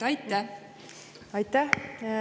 Aitäh!